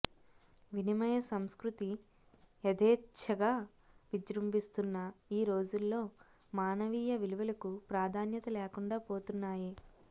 వినిమయ సంస్కృతి యథేచ్ఛగా విజృంభిస్తున్న ఈ రోజుల్లో మానవీయ విలువలకు ప్రాధాన్యత లేకుండా పోతున్నాయి